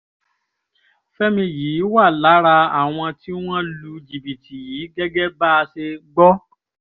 fẹ́mi yìí wà lára àwọn tí wọ́n lu jìbìtì yìí gẹ́gẹ́ bá a ṣe gbọ́